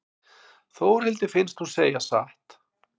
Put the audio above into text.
Þórhildi finnst hún segja satt.